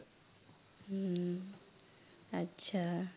উম আচ্ছা